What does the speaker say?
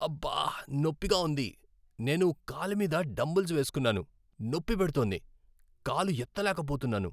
అబ్బా! నొప్పిగా ఉంది. నేను కాలు మీద డంబెల్స్ వేసుకున్నాను, నొప్పి పెడుతోంది. కాలు ఎత్తలేకపోతున్నాను.